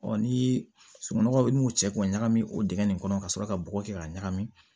ni sununɔgɔ ni n'u cɛ k'o ɲagami o dingɛ nin kɔnɔ ka sɔrɔ ka bɔgɔ kɛ k'a ɲagami